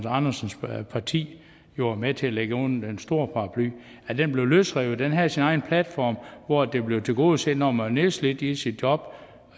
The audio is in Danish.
andersens parti var med til at lægge under den store paraply blev løsrevet at den havde sin egen platform hvor det blev tilgodeset når man var nedslidt i sit job